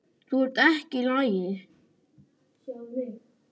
Þú ert ekki í lagi.